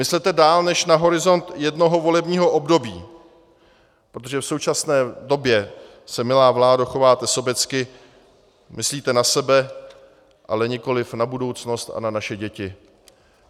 Myslete dál než na horizont jednoho volebního období, protože v současné době se, milá vládo, chováte sobecky, myslíte na sebe, ale nikoliv na budoucnost a na naše děti.